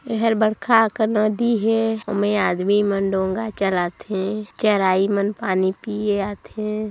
ये है बरखा के नदी है ओमे आदमी मन डोंगा चलाथे चराई मन पानी पिए आथे।